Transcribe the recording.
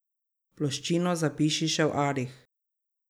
Ploščino zapiši še v arih.